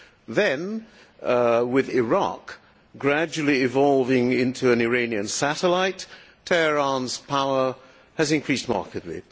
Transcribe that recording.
Then, with Iraq gradually evolving into an Iranian satellite, Tehran's power has increased markedly.